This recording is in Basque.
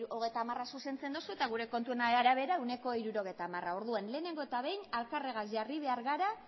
hogeita hamara zuzentzen dozu eta gure kontuen arabera ehuneko hirurogeita hamara orduan lehenengo eta behin alkarregaz jarri behar gara